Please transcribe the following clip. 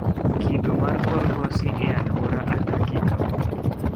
Kido mar kor lwasi e alwora adakie kawuono